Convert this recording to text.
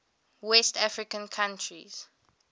west african countries